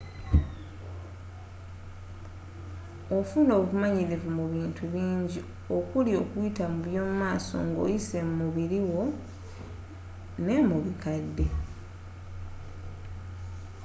ofuna obumanyirivu mu bintu bingi okuli okuyita mu by’omumaso nga oyise mu biri wo, n’emubikadde